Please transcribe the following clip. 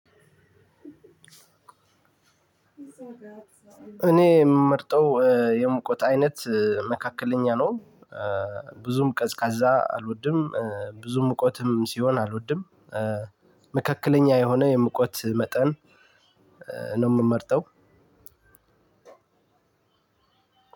እኔ የምመርጠው የሙቀት አይነት መካከለኛ ነው። ብዙም ቀዝቃዛ አልወድም። ብዙም ውቀትም ሲሆን አልወድም። መካከለኛ የሆነ የሙቀት መጠን ነው የምመርጠው።